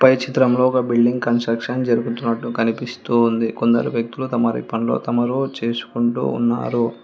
పై చిత్రంలో ఒక building construction జరుగుతున్నట్టు కనిపిస్తూ ఉంది కొందరు వ్యక్తులు తమరి పనులు తమరు చేసుకుంటూ ఉన్నారు.